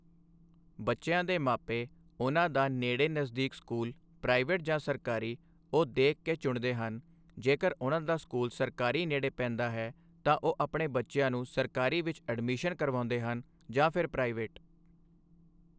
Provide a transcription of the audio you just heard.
ਬੱਚਿਆਂ ਦੇ ਮਾਪੇ ਉਨ੍ਹਾਂ ਦਾ ਨੇੜੇ ਨਜ਼ਦੀਕੀ ਸਕੂਲ ਪ੍ਰਾਈਵੇਟ ਜਾਂ ਸਰਕਾਰੀ ਉਹ ਦੇਖ ਕੇ ਚੁਣਦੇ ਹਨ ਜੇਕਰ ਉਨ੍ਹਾਂ ਦਾ ਸਕੂਲ ਸਰਕਾਰੀ ਨੇੜੇ ਪੈਂਦਾ ਹੈ ਤਾਂ ਉਹ ਆਪਣੇ ਬੱਚਿਆਂ ਨੂੰ ਸਰਕਾਰੀ ਵਿੱਚ ਐਡਮੀਸ਼ਨ ਕਰਵਾਉਂਦੇ ਹਨ ਜਾਂ ਫਿਰ ਪ੍ਰਾਈਵੇਟ